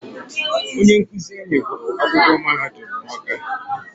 Onye nkụzi anyị gụrụ akwụkwọ mahadum n'Ọ́ká.